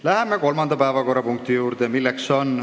Läheme kolmanda päevakorrapunkti juurde.